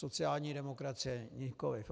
Sociální demokracie nikoliv.